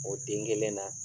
O den kelen na.